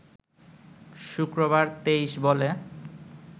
শুক্রবার ২৩ বলে